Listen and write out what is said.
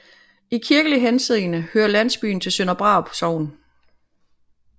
I kirkelig henseende hører landsbyen til Sønder Brarup Sogn